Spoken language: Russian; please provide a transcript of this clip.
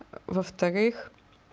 во-вторых